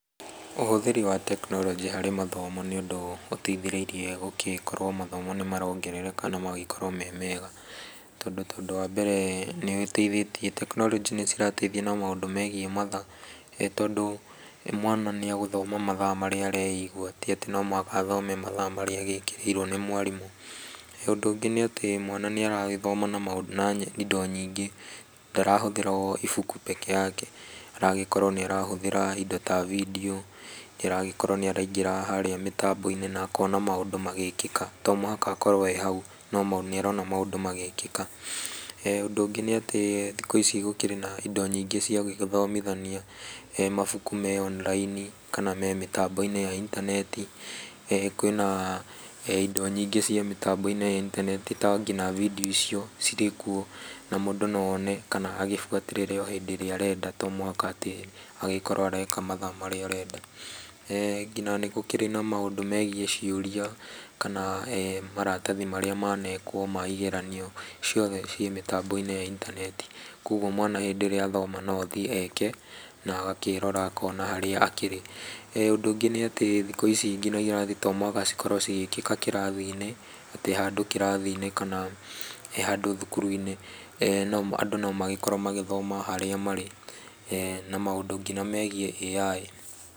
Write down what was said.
Ũhũthĩri wa tekinoronjĩ harĩ mathomo nĩ ũndũ ũteithĩrĩrie mathomo gũgĩkorwo nĩ marongerereka na magagĩkorwo me mega. Tondũ ta wa mbere nĩ ũgĩteithĩtie, tekinoronjĩ nĩ cirateithia na maũndũ megiĩ mathaa tondũ mwana nĩ egũthoma mathaa marĩa areigua; ti atĩ no mũhaka athome mathaa marĩa agĩkĩrĩirwo nĩ mwarimũ. Ũndũ ũngĩ nĩ atĩ mwana nĩ aragĩthoma na indo nyingĩ, ndarahũthĩra o ibuku peke yake. Aragĩkorwo nĩ arahũthĩra indo ta vindiũ, nĩ aragĩkorwo nĩ araingĩra harĩa mĩtambo-inĩ na akona maũndũ magĩkĩka. To mũhaka akorwo ee hau no nĩ arona maũndũ magĩkĩka. Ũndũ ũngĩ nĩ atĩ thikũ ici gũkĩrĩ na indo nyingĩ cia gũgĩthomithania. Mabuku me online, kana me mĩtambo-inĩ ya intaneti. Kwĩna indo nyingĩ cia mĩtambo-inĩ ya intaneti ta nginya vindiũ icio cirĩ kuo. Na mũndũ no one kana agĩbuatĩrĩre o hĩndĩ ĩrĩa arenda, to muhaka atĩ agĩkorwo areka mathaa marĩa arenda. Nginya nĩ gũkĩrĩ na maũndũ megiĩ ciũria, kana maratathi marĩa manekwo ma igeranio. Ciothe ciĩ mĩtambo-inĩ ya intaneti. Kogwo mwana hĩndĩ ĩrĩa athoma no athiĩ eke, na agakĩrora akona harĩa akĩrĩ. Ũndũ ũngĩ nĩ atĩ thikũ ici nginya irathi to mũhaka cikorwo cigĩkĩka kĩrathi-inĩ ati handũ kĩrathi-inĩ, kana handũ thukuru-inĩ. Andũ no magĩkorwo magĩthoma o harĩa marĩ. Na maũndũ nginya megiĩ AI.